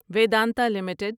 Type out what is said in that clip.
Vedanta limited